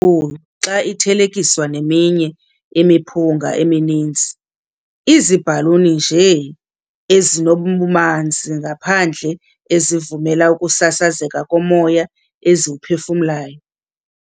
khulu xa ithelekiswa neminye imiphunga emininzi, iziibhaluni nje, ezinobumanzi ngaphandle ezivumela ukusasazeka komoya eziwuphefumlayo.